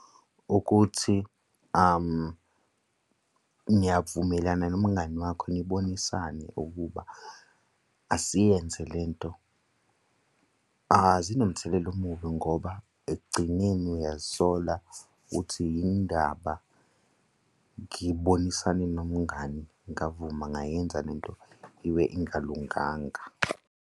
Ukuthi niyavumelana nomngani wakho nibonisane ukuba asiyenze lento, zinomthelela omubi ngoba ekugcineni uyazisola uthi yini ndaba ngibonisane nomngani ngavuma ngayenza le nto ibe ingalunganga.